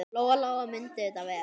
Lóa-Lóa mundi þetta vel.